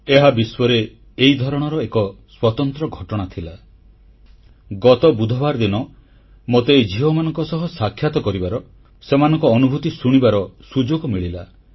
ଏହା ବିଶ୍ୱରେ ଏହି ଧରଣର ଏକ ସ୍ୱତନ୍ତ୍ର ଘଟଣା ଥିଲା ଗତ ବୁଧବାର ଦିନ ମୋତେ ଏହି ଝିଅମାନଙ୍କ ସହ ସାକ୍ଷାତ କରିବାର ସେମାନଙ୍କ ଅନୁଭୂତି ଶୁଣିବାର ସୁଯୋଗ ମିଳିଲା